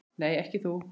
Nei, ekki þú.